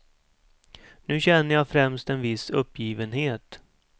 Nu känner jag främst en viss uppgivenhet.